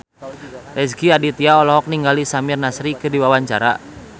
Rezky Aditya olohok ningali Samir Nasri keur diwawancara